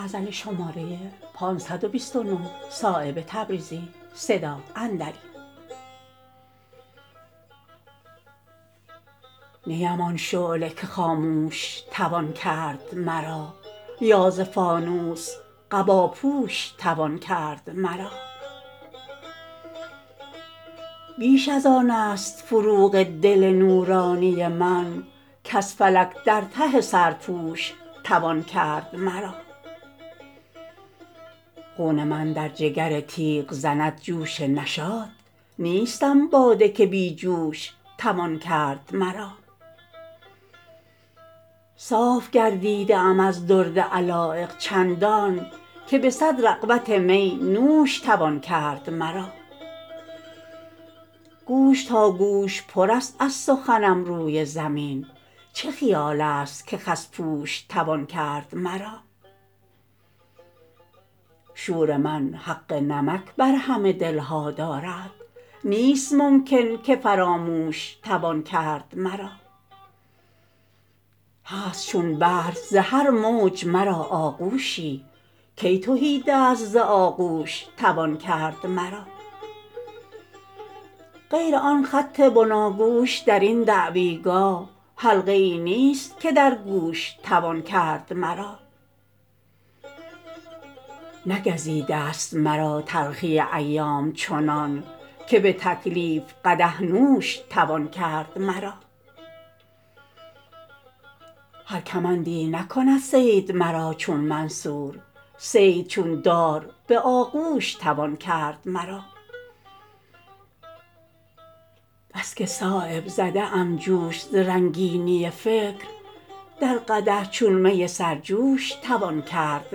نیم آن شعله که خاموش توان کرد مرا یا ز فانوس قباپوش توان کرد مرا بیش ازان است فروغ دل نورانی من کز فلک در ته سرپوش توان کرد مرا خون من در جگر تیغ زند جوش نشاط نیستم باده که بی جوش توان کرد مرا صاف گردیده ام از درد علایق چندان که به صد رغبت می نوش توان کرد مرا گوش تا گوش پرست از سخنم روی زمین چه خیال است که خس پوش توان کرد مرا شور من حق نمک بر همه دلها دارد نیست ممکن که فراموش توان کرد مرا هست چون بحر زهر موج مرا آغوشی کی تهیدست ز آغوش توان کرد مرا غیر آن خط بناگوش درین دعویگاه حلقه ای نیست که در گوش توان کرد مرا نگزیده است مرا تلخی ایام چنان که به تکلیف قدح نوش توان کرد مرا هر کمندی نکند صید مرا چون منصور صید چون دار به آغوش توان کرد مرا بس که صایب زده ام جوش ز رنگینی فکر در قدح چون می سر جوش توان کرد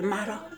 مرا